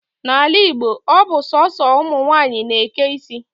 N'ala Igbo, ọ bụ sọọsọ ụmụnwaanyị na-eke isi